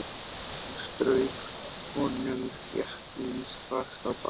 Hún strauk honum þéttingsfast á bakið.